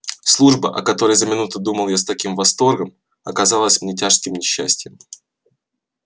служба о которой за минуту думал я с таким восторгом показалась мне тяжким несчастьем